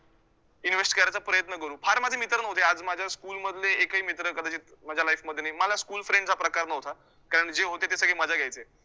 Invest करायचा प्रयत्न करू, फार माझे मित्र नव्हते, आज माझ्या school मधले एकही मित्र कदाचित माझ्या life मध्ये नाही. मला school friends हा प्रकार नव्हता, कारण जे होते ते सगळे मजा घ्यायचे.